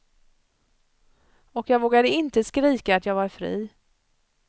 Och jag vågade inte skrika att jag var fri.